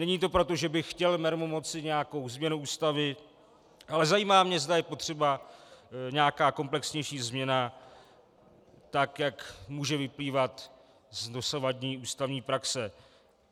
Není to proto, že bych chtěl mermomocí nějakou změnu Ústavy, ale zajímá mě, zda je potřeba nějaká komplexnější změna, tak jak může vyplývat z dosavadní ústavní praxe.